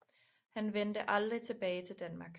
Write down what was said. Han vendte aldrig tilbage til Danmark